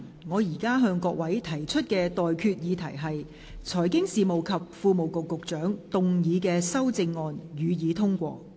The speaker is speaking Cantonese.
我現在向各位提出的待決議題是：財經事務及庫務局局長動議的修正案，予以通過。